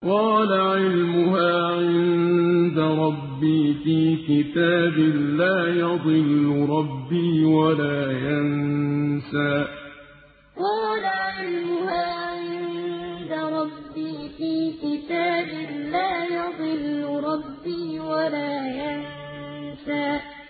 قَالَ عِلْمُهَا عِندَ رَبِّي فِي كِتَابٍ ۖ لَّا يَضِلُّ رَبِّي وَلَا يَنسَى قَالَ عِلْمُهَا عِندَ رَبِّي فِي كِتَابٍ ۖ لَّا يَضِلُّ رَبِّي وَلَا يَنسَى